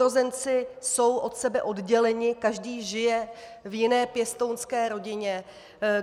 Sourozenci jsou od sebe odděleni, každý žije v jiné pěstounské rodině.